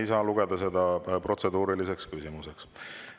Ei saa seda lugeda protseduuriliseks küsimuseks.